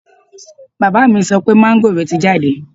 Bàbá mi sọ pé máńgòrò ti jáde